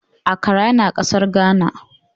Accra yana kasar Ghana.